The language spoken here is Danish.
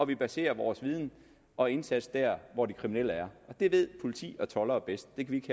vi baserer vores viden og indsats der hvor de kriminelle er og det ved politi og toldere bedst det kan